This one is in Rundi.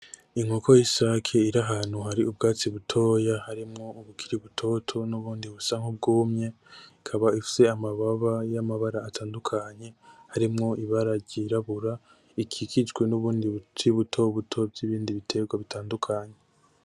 Inkoko y,isake iri ahantu hari ubwatsi butoya harimwo ubukiri butoto n'ubundi busa nk'ubwumye ikaba ifise amababa y'amabara atandukanye harimwo ibara ryirabura rikikijwe n'ubundi buce buto buto vy,ibindi biterwa bitandukanye .